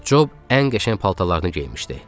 Cob ən qəşəng paltarlarını geyinmişdi.